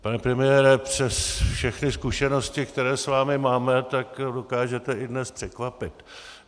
Pane premiére, přes všechny zkušenosti, které s vámi máme, tak dokážete i dnes překvapit.